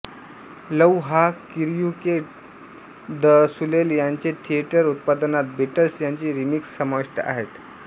love हा Cirque du Soleil यांचे theatre उत्पादनात बीटल्स यांची रीमिक्स समाविष्ट आहेत